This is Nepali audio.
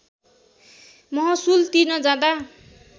महसुल तिर्न जाँदा